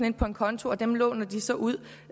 ind på en konto og dem låner de så ud